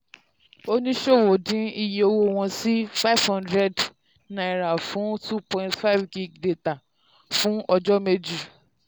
oníṣòwò dín iye owó wọn sí n500 fún 2.5gb dátà fún ọjọ́ méjì.